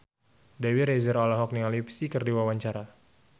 Dewi Rezer olohok ningali Psy keur diwawancara